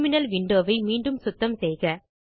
terminal window வை மீண்டும் சுத்தம் செய்க